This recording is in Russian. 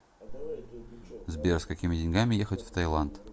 сбер с какими деньгами ехать в таиланд